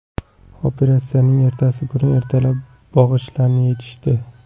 Operatsiyaning ertasi kuni ertalab bog‘ichlarni yechishdi.